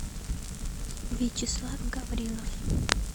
вячеслав гаврилов